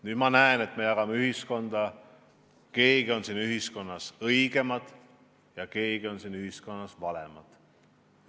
Nüüd ma näen, et me jagame ühiskonda nii, et on õigemad ja on valemad.